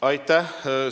Aitäh!